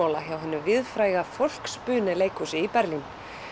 hinu víðfræga leikhúsi í Berlín